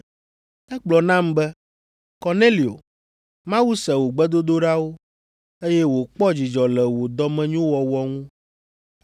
Egblɔ nam be, ‘Kornelio, Mawu se wò gbedodoɖawo, eye wòkpɔ dzidzɔ le wò dɔmenyowɔwɔ ŋu.